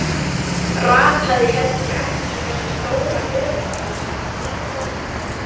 Rataði heldur ekki í þessu stóra völundarhúsi, nýkominn.